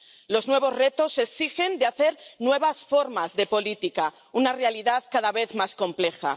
Los nuevos retos exigen hacer nuevas formas de política, una realidad cada vez más compleja.